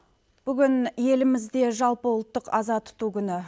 бүгін елімізде жалпыұлттық аза тұту күні